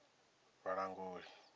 vhalanguli